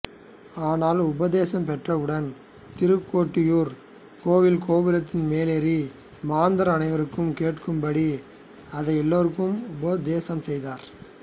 ஆனால் உபதேசம் பெற்றவுடன் திருக்கோட்டியூர் கோவில் கோபுரத்தின் மேலேறி மாந்தர் அனைவருக்கும் கேட்கும்படி அதை எல்லோருக்கும் உபதேசம் செய்தார்